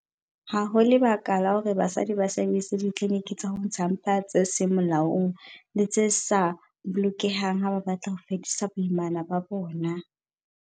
Ha ho lebaka la hore basadi ba sebedise ditliliniki tsa ho ntsha mpa tse seng molaong le tse sa bolokehang ha ba batla ho fedisa boimana ba bona.